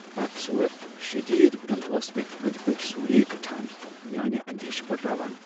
بدصورت ، شدید وُنل ٲس مے٘ اندۍ پكہۍ سورٗیہ كھٹان ، میٲنہِ اندیشہِ بڈراوان ۔